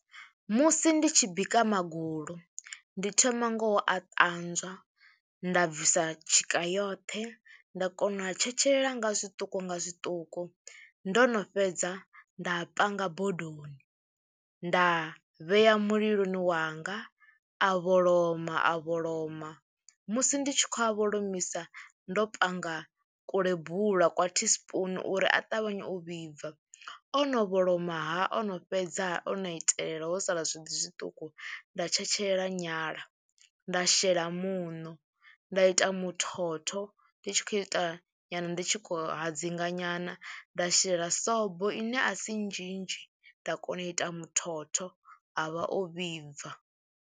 Musi ndi tshi bika magulu ndi thoma nga u a ṱanzwa nda bvisa tshika yoṱhe nda kona u a tshetshelela nga zwiṱuku nga zwiṱuku ndo no fhedza nda panga bodoni, nda vhea muliloni wanga a vholoma a vholoma, musi ndi tshi khou a vholomisa ndo panga kulebula kwa tea spoon uri a ṱavhanye u vhibva, ono vholomaha ono fhedza ono itelela ho sala zwiḓi zwiṱuku nda tshetshelela nyala, nda shela muṋo, nda ita muthotho ndi tshi khou ita nyana ndi tshi khou hadzinga nyana, nda shela sobo ine a si nzhinzhi, nda kona u ita muthotho, a vha o vhibva.